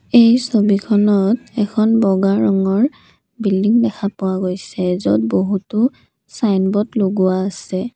এই ছবিখনত এখন বগা ৰঙৰ বিল্ডিং দেখা পোৱা গৈছে য'ত বহুতো ছাইনবোৰ্ড লগোৱা আছে।